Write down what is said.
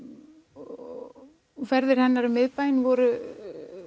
og ferðir hennar um miðbæinn voru